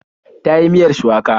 Ta yi miyar shuwaka.